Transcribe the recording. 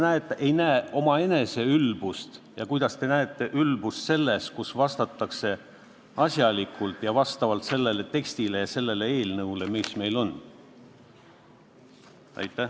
Kuidas te ei näe omaenese ülbust ja kuidas te näete ülbust selles, kui vastatakse asjalikult ja pidades silmas seda teksti, seda eelnõu, mis meil on?